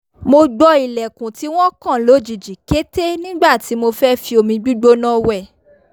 mo gbọ́ ilẹ̀kùn tí wọ́n kàn lójijì kété nígbà tí mo fẹ́ fi omi gbígbóná wẹ̀